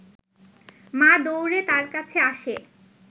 মা দৌড়ে তার কাছে আসে